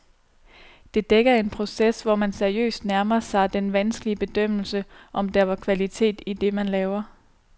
Det dækker en proces, hvor man seriøst nærmer sig den vanskelige bedømmelse, om der er kvalitet i det, man laver.